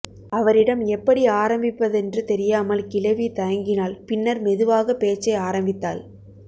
அவரிடம் எப்படி ஆரம்பிப்பதென்று தெரியாமல் கிழவி தயங்கினாள் பின்னர் மெதுவாக பேச்சை ஆரம்பித்தாள்